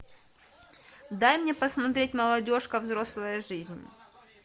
дай мне посмотреть молодежка взрослая жизнь